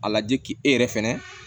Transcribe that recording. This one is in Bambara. A lajɛ k'e yɛrɛ fɛnɛ